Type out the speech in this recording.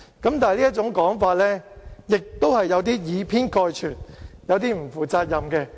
但是，這種說法亦是有點以偏概全，有點不負責任。